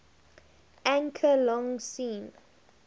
anchor long seen